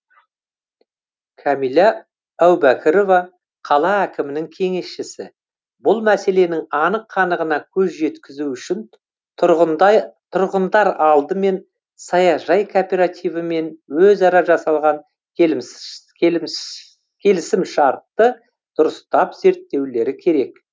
кәмила әубәкірова қала әкімінің кеңесшісі бұл мәселенің анық қанығына көз жеткізу үшін тұрғындар алдымен саяжай кооперативімен өзара жасалған келісімшартты дұрыстап зерттеулері керек